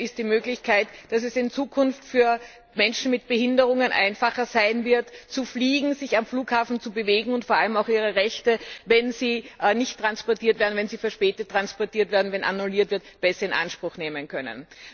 Das eine ist die Möglichkeit, dass es in Zukunft für Menschen mit Behinderungen einfacher sein wird zu fliegen, sich am Flughafen zu bewegen, und sie vor allem auch ihre Rechte, wenn sie nicht oder verspätet transportiert werden, wenn annulliert wird, besser in Anspruch nehmen können.